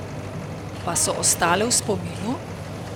Pa so ostale v spominu?